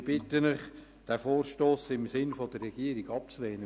Ich bitte Sie den Vorstoss im Sinne der Regierung abzulehnen.